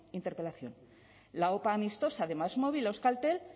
interpelación la opa amistosa de másmóvil a euskaltel